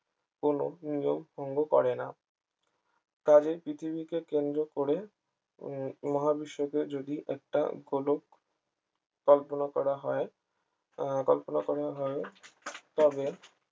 কোন নিয়ম ভঙ্গ করে না তাদের পৃথিবীকে কেন্দ্র করে উম মহাবিশ্বকে যদি একটা গোলক কল্পনা করা হয় আহ কল্পনা করা হয় তবে